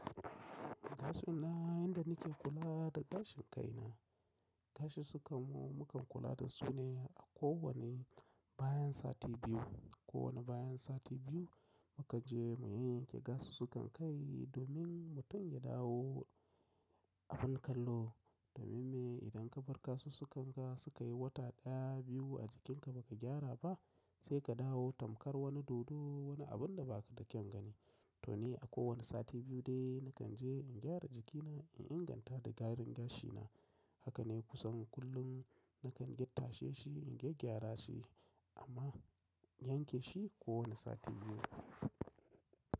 Gashi na, yanda nake kula da gashin kai na, gashi sukan mu mukan kula da su ne a kowane bayan sati biyu. Ko wane bayan sati biyu muka je mu yenyenke gasusukai kai domin mutum ya dawo abin kallo. Domin me? Idan ka bar kasu su kanka suka yi wata ɗaya, biyu a jikinka baka gyara ba sai ka dawo tamkar wani dodo, wani abun da ba ka da kyan gani. To ni a kowane sati biyu dai nakan je in gyara jikina, in inganta da gadon gashina. Haka ne kusan kullum nakan yi tashe shi, in gya gyara shi amma yanke shi kowane sati biyu.